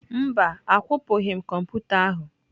Mba, akwụpụghị m kọmputa ahụ.